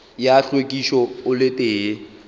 ya hlwekišo o le tee